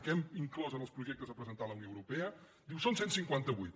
que hem inclosos en els projectes a presentar a la unió europea diu són cent i cinquanta vuit